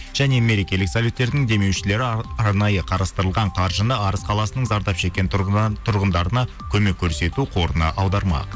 және мерекелік советтердің демеушілері арнайы қарастырылған қаржыны арыс қаласының зардап шеккен тұрғындарына көмек көрсету қорына аудармақ